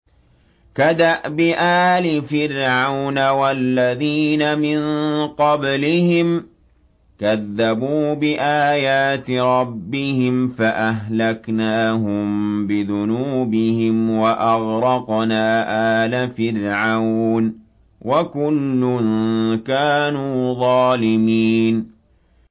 كَدَأْبِ آلِ فِرْعَوْنَ ۙ وَالَّذِينَ مِن قَبْلِهِمْ ۚ كَذَّبُوا بِآيَاتِ رَبِّهِمْ فَأَهْلَكْنَاهُم بِذُنُوبِهِمْ وَأَغْرَقْنَا آلَ فِرْعَوْنَ ۚ وَكُلٌّ كَانُوا ظَالِمِينَ